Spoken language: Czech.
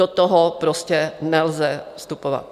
Do toho prostě nelze vstupovat.